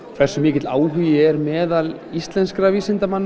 hversu mikill áhugi er meðal íslenskra vísindamanna